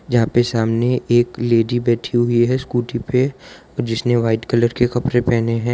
यहां पे सामने एक लेडी बैठी हुई है स्कूटी पे जिसने व्हाइट कलर के कपड़े पहने हैं।